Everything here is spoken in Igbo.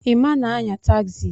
Emma na-anya tagzi.